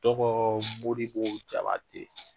Tɔgɔ Modibo Jabatɛ